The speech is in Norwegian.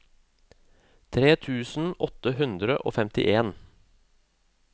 tre tusen åtte hundre og femtien